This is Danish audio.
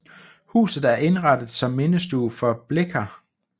Huset er indrettet som mindestue for Blicher